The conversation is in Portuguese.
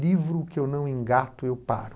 Livro que eu não engato, eu paro.